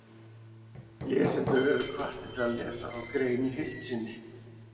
Lesendur eru hvattir til að lesa þá grein í heild sinni.